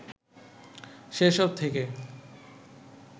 সেসব থেকে